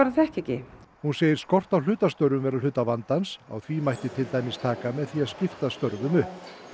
þekkja ekki hún segir skort á hlutastörfum vera hluta vandans á því mætti til dæmis taka með því að skipta störfum upp